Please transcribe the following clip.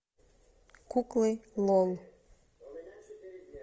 куклы лол